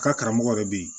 Ka karamɔgɔ yɛrɛ bɛ yen